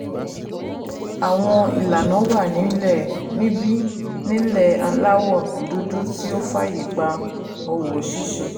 Àwọn ìlànà wà nílẹ̀ẹ níbí nílẹ̀ẹ aláwọ̀ dúdú tó fààyè gba òwò ṣíṣe